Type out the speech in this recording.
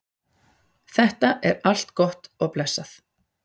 Þetta er allt gott og blessað.